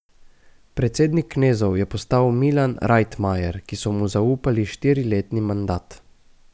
Predsednik knezov je postal Milan Rajtmajer, ki so mu zaupali štiriletni mandat.